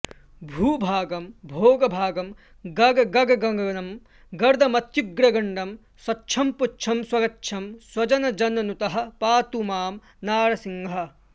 भूभागं भोगभागं गगगगगगनं गर्दमर्त्युग्रगण्डं स्वच्छं पुच्छं स्वगच्छं स्वजनजननुतः पातु मां नारसिंहः